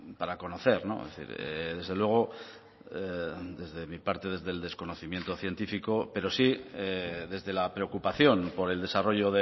para conocer desde luego desde mi parte desde el desconocimiento científico pero sí desde la preocupación por el desarrollo